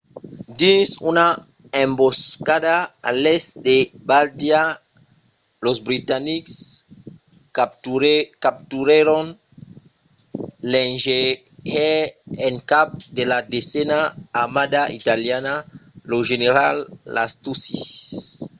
dins una emboscada a l'èst de bardia los britanics capturèron l'engenhaire en cap de la desena armada italiana lo general lastucci